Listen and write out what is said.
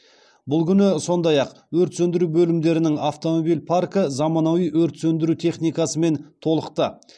бұл күні сондай ақ өрт сөндіру бөлімдерінің автомобиль паркі заманауи өрт сөндіру техникасымен толықты